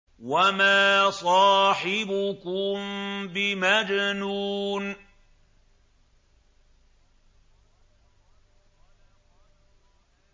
وَمَا صَاحِبُكُم بِمَجْنُونٍ